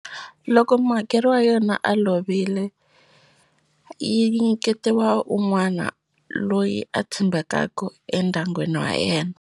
Loko muhakeri wa yona a lovile yi nyiketiwa un'wana loyi a tshembekaku endyangwini wa yena.